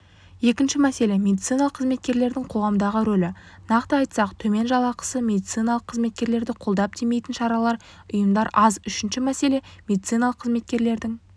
екінші мәселе медициналық қызметкерлердің қоғамдағы рөлі нақты айтсақ төмен жалақыс медициналық қызметкерлерді қолдап демейтін шаралар ұйымдар аз үшінші мәселе медициналық қызметкерлердің